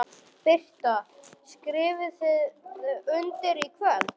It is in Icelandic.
Birta: Skrifið þið undir í kvöld?